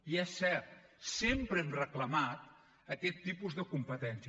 i és cert sempre hem reclamat aquest tipus de competències